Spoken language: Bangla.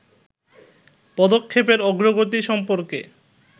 পদক্ষেপের অগ্রগতি সম্পর্কে